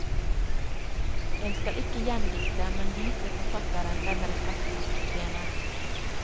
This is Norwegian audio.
En skal ikke gjendikte, men vise forfatteren den respekt han fortjener.